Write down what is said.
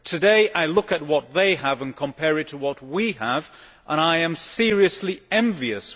Today, I look at what they have and compare it to what we have and I am seriously envious.